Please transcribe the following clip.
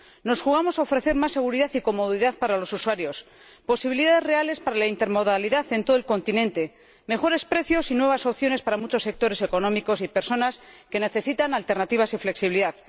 Nos jugamos la posibilidad de ofrecer más seguridad y comodidad para los usuarios, posibilidades reales para la intermodalidad en todo el continente, mejores precios y nuevas opciones para muchos sectores económicos y personas que necesitan alternativas y flexibilidad.